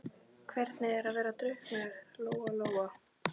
Hvernig er að vera drukknaður, Lóa Lóa?